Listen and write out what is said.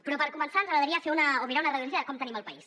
però per començar ens agradaria mirar una radiografia de com tenim el país